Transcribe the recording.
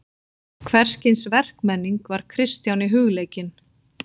Hvers kyns verkmenning var Kristjáni hugleikin.